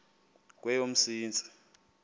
kweyomsintsi